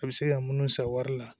A bɛ se ka munnu san wari la